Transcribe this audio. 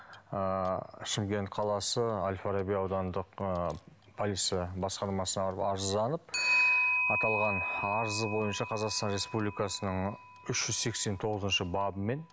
ыыы шымкент қаласы әлфараби аудандық ы полиция басқармасына барып арызданып аталған арызы бойынша қазақстан республикасының үш жүз сексен тоғызыншы бабымен